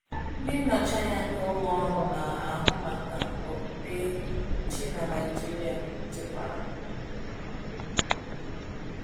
Ndị nnọchianya nke Ụlọ Ọrụ Na - ahụ Maka Okpukpe Chi na Naijiria jekwara.